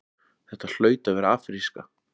Þetta hlaut að vera afríska.